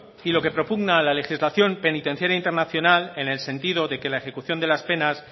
y lo que propugna la legislación penitenciaria internacional en el sentido de que la ejecución de las penas